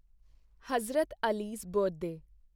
Hazrat Ali's birthday